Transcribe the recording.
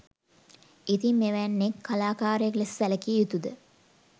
ඉතින් මෙවැන්නෙක් කලාකාරයෙක් ලෙස සැලකිය යුතුද?